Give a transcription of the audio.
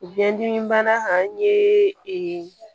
Biyɛndimi bana an ye